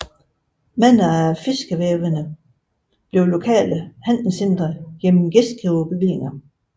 Mange af fiskeværene blev lokale handelscentre gennem gæstgiverbevillinger